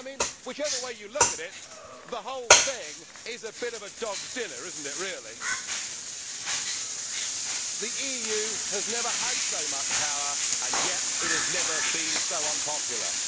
Whichever way you look at it, the whole thing is a bit of a dog's dinner really. The EU has never had so much power, and yet it has never been so unpopular.